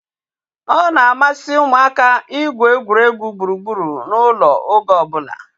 Ọ na-amasị ụmụaka igwu egwuregwu gburugburu ụlọ oge ọbụla